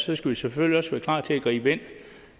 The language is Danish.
vi skal selvfølgelig også være klar til at gribe ind